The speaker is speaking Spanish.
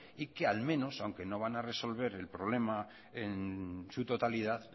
y que al menos aunque no van a resolver el problema en su totalidad